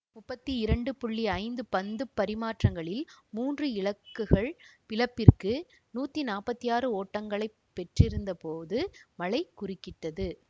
முப்பத்தி இரண்டு புள்ளி ஐந்து பந்துப் பரிமாற்றங்களில் மூன்று இலக்குகள் இழப்பிற்கு நூற்றி நாற்பத்தி ஆறு ஓட்டங்களை பெற்றிருந்த போது மழை குறுக்கிட்டது